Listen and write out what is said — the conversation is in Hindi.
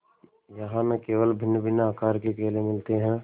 यहाँ न केवल भिन्नभिन्न आकार के केले मिलते हैं